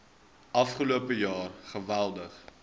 afgelope jaar geweldig